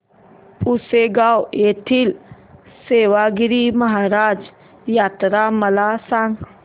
पुसेगांव येथील सेवागीरी महाराज यात्रा मला सांग